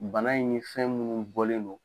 Bana in ni fɛn minnu bɔlen do